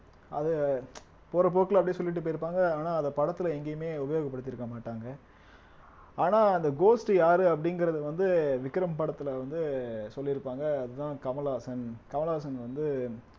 அத போற போக்குல அப்படியே சொல்லிட்டு போயிருப்பாங்க ஆனா அத படத்துல எங்கேயுமே உபயோகப்படுத்தி இருக்க மாட்டாங்க ஆனா அந்த ghost யாரு அப்படிங்கிறது வந்து விக்ரம் படத்துல வந்து சொல்லிருப்பாங்க அதுதான் கமலஹாசன் கமலஹாசன் வந்து